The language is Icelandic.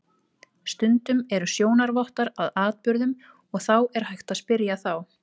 Stundum eru sjónarvottar að atburðum og er þá hægt að spyrja þá.